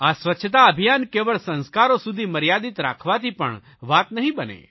આ સ્વચ્છતા અભિયાન કેવળ સંસ્કારો સુધી મર્યાદિત રાખવાથી પણ વાત નહીં બને